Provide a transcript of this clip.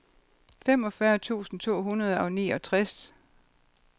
femogfyrre tusind to hundrede og niogtres